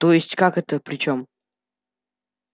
то есть как это при чём